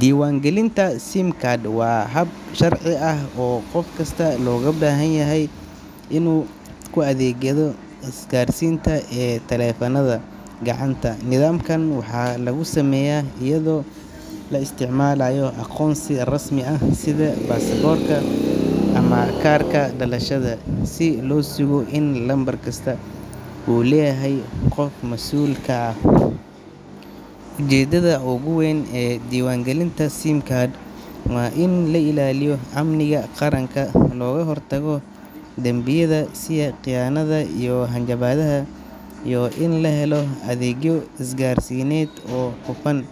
Diiwaangelinta SIM card waa hab sharci ah oo qof kasta looga baahan yahay inuu ku xaqiijiyo aqoonsigiisa marka uu isticmaalayo adeegyada isgaarsiinta ee taleefannada gacanta. Nidaamkan waxaa lagu sameeyaa iyadoo la isticmaalayo aqoonsi rasmi ah sida baasaboorka ama kaarka dhalashada, si loo sugo in lambar kasta uu leeyahay qof mas’uul ka ah. Ujeeddada ugu weyn ee diiwaangelinta SIM card waa in la ilaaliyo amniga qaranka, looga hortago dambiyada sida khiyaanada iyo hanjabaadaha, iyo in la helo adeegyo isgaarsiineed oo hufan.